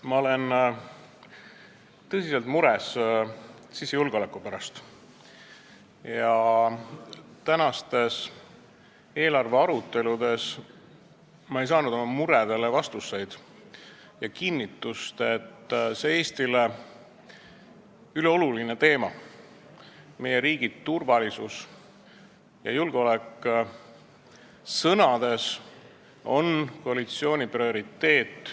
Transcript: Ma olen tõsiselt mures sisejulgeoleku pärast ja tänastes eelarve aruteludes ma ei saanud oma muredele vastuseid ja kinnitust, et see Eestile ülioluline teema, meie riigi turvalisus ja julgeolek, on koalitsiooni prioriteet.